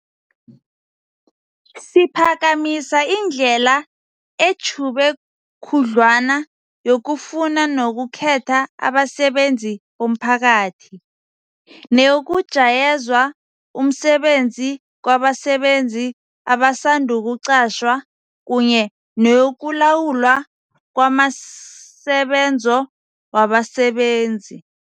Siphakamisa indlela etjhube khudlwana yokufuna nokukhetha abasebenzi bomphakathi, neyokujayezwa umsebenzi kwabasebenzi abasandukuqatjhwa kunye neyokulawulwa kwamasebenzo wabasebenzi.